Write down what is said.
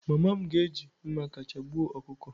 Mama m ga-eji mma kacha gbuo ọkụkọ.